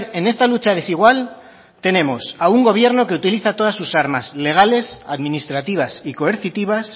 en esta lucha desigual tenemos a un gobierno que utiliza todas sus armas legales administrativas y coercitivas